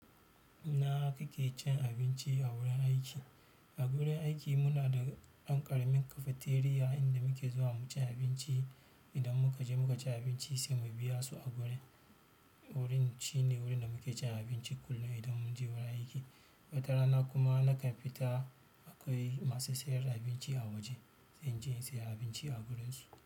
Inakake cin abinci a wurin aiki. A gurin aiki munada ɗan ƙaramin cafteria inda muke zuwa muci abinci idan muka je muka ci abinci sai mu biya su a wurin. Wurin shine wurin da muke cin abinci kullum idan mun je wurin aiki. Wata rana kuma na kamfita akwai masu sayar da abinci a waje sai mu inje in saya abinci a wurinsu.